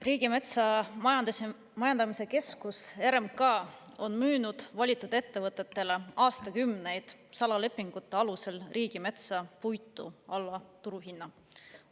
Riigimetsa Majandamise Keskus, RMK on müünud valitud ettevõtetele aastakümneid salalepingute alusel riigimetsa puitu alla turuhinna.